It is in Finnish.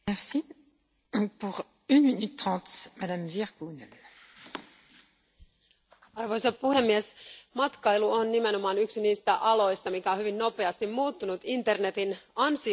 Arvoisa puhemies, matkailu on nimenomaan yksi niistä aloista, joka on hyvin nopeasti muuttunut internetin ansiosta, ja yhä suurempi osa muun muassa juuri lentolipuista varataan nyt suoraan internetin kautta.